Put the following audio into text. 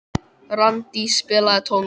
Randý, spilaðu tónlist.